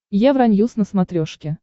евроньюс на смотрешке